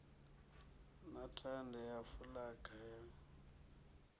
na thanda ya fulaga ya